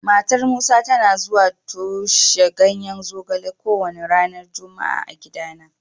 Matar Musa tana zuwa toshe ganyen zogale kowane ranar Juma'a a gidana.